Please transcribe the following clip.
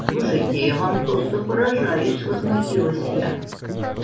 слушайте я вам просто поражаюсь возмутилась я